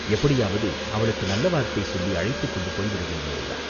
எப்படியாவது அவளுக்கு நல்ல வார்த்தை சொல்லி அழைத்துக்கொண்டு போய்விடவேண்டியதுதான்.